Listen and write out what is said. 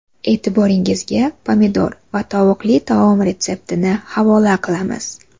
E’tiboringizga pomidor va tovuqli taom retseptini havola qilamiz.